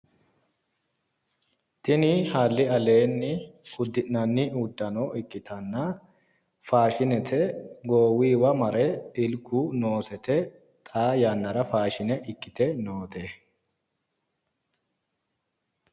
Tini halli aleenni uddi'nanni uddano ikkita faashinete goowuyiwa mare ilku noosete xaa yannara faashine ikkite noote